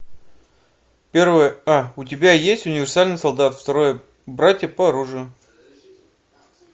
первая а у тебя есть универсальный солдат второе братья по оружию